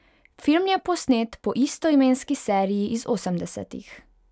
Film je posnet po istoimenski seriji iz osemdesetih.